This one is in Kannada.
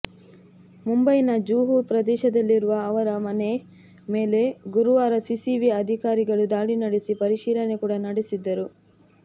ಮುಂಬೈನ ಜುಹು ಪ್ರದೇಶದಲ್ಲಿರುವ ಅವರ ಮನೆ ಮೇಲೆ ಗುರುವಾರ ಸಿಸಿಬಿ ಅಧಿಕಾರಿಗಳು ದಾಳಿ ನಡೆಸಿ ಪರಿಶೀಲನೆ ಕೂಡ ನಡೆಸಿದ್ದರು